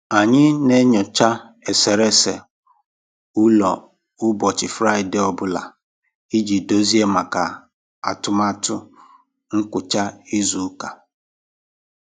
Anyị n'enyocha eserese ọlụ ụbọchị Fraịde ọ bụla iji dozie maka atụmatụ ngwucha izu ụka.